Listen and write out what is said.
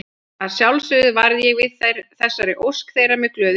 Að sjálfsögðu varð ég við þessari ósk þeirra með glöðu geði.